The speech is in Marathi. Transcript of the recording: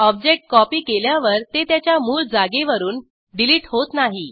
ऑब्जेक्ट कॉपी केल्यावर ते त्याच्या मूळ जागेवरून डिलीट होत नाही